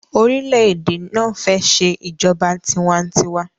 orilẹ-ède náa fè ṣe ìjọba tiwa-n-tiwa.